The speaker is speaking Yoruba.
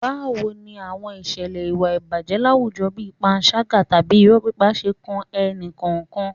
Báwo ni àwọn ìṣẹ̀lẹ̀ ìwà ìbàjẹ́ láwùjọ bí panṣágà tàbí irọ́ pípa ṣe kan ẹnì kọ̀ọ̀kan.